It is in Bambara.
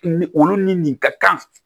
Ni olu ni nin ka kan